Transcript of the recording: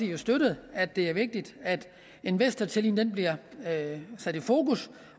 jo støttet at det er vigtigt at investortilliden bliver sat i fokus